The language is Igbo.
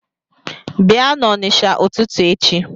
Bịa n’Onisha ụtụtụ echi